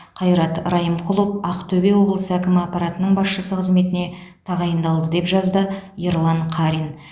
қайрат райымқұлов ақтөбе облысы әкімі аппаратының басшысы қызметіне тағайындалды деп жазды ерлан қарин